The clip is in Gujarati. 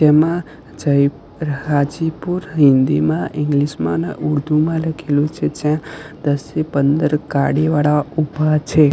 એમા જઇ હાજીપુર હિન્દીમાં ઈંગ્લીશ મા અને ઉર્દુમાં લખેલુ છે જ્યાં દસથી પંદર ગાડી વાળા ઊભા છે.